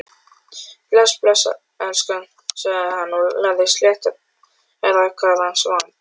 Bless, elskan sagði hann, lagði sléttrakaðan vang